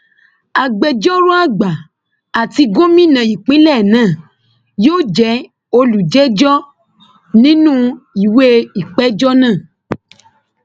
agbẹjọrò àgbà àti gómìnà ìpínlẹ náà yóò jẹ olùjẹjọ nínú ìwé ìpéjọ náà